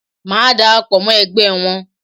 Màá dara pọ̀ mọ́ ẹgbẹ́ wọn.